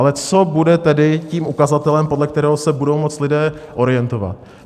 Ale co bude tedy tím ukazatelem, podle kterého se budou moci lidé orientovat?